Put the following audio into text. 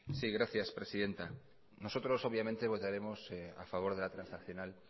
sí gracias presidenta nosotros obviamente votaremos a favor de la transaccional